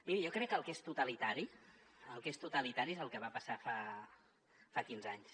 miri jo crec que el que és totalitari el que és totalitari és el que va passar fa quinze anys